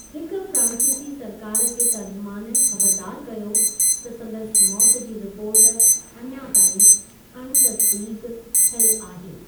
हिकु फ्रांसीसी सरकार जे तर्जुमानु ख़बरदार कयो त सन्दसि मौति जी रिपोर्ट अञा ताईं अण तस्दीक़ु थियलु आहे।.